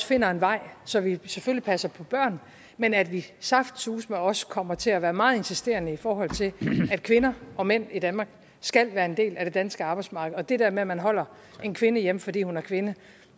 finder en vej så vi selvfølgelig passer på børnene men at vi saftsuseme også kommer til at være meget insisterende i forhold til at kvinder og mænd i danmark skal være en del af det danske arbejdsmarked og det der med at man holder en kvinde hjemme fordi hun er kvinde